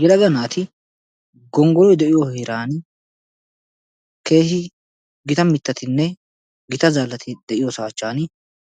Yelaga naati gonggoloy de'iyo heeran keehin gita mittatinne gita zaallati de'iyoosa achchan